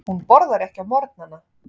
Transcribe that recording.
Hún borðar ekki á morgnana.